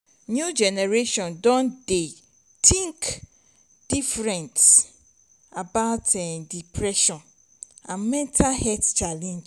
new generation don dey think different about depression and mental health challenge